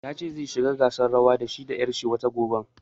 Ya ce zai shiga gasar rawan da shi da ƴar shi watan gobe